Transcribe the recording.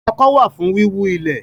Ọkọ́ wà fún wíwú ilẹ̀